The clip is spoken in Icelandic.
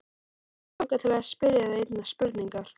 Mig langar til að spyrja þig einnar spurningar.